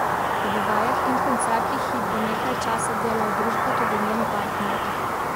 Ob vajah in koncertih ji bo nekaj časa delal družbo tudi njen partner.